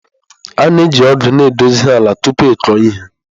A na-eji ọgụ na-edozi ala tupu ịkụ ihe.